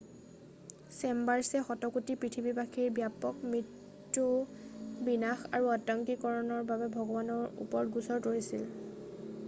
চেম্বাৰ্চে শতকোটি পৃথিৱীবাসীৰ ব্যাপক মৃত্যু বিনাশ আৰু আতংকিতকৰণ ৰ বাবে ভগৱানৰ ওপৰত গোচৰ তৰিছিল